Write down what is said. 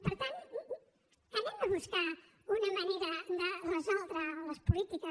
per tant busquem una manera de resoldre les polítiques